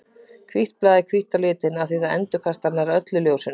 Hvítt blað er hvítt á litinn af því að það endurkastar nær öllu ljósinu.